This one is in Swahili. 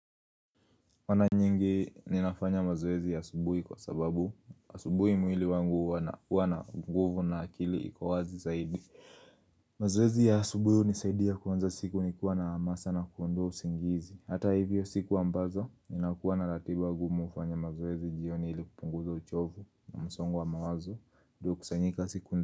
Wana nyingi ninafanya mazoezi asubuhi kwa sababu, asubuhi mwili wangu huwa na guvu na akili iko wazi zaidi. Mazoezi ya asubuhi unisaidia kuanza siku nikiwa na amasa na kuondoa usingizi. Hata hivyo siku ambazo, ninakuwa na ratiba gumu ufanya mazoezi jioni ili kupunguza uchovu na msongo wa mawazo uliokusanyika siku.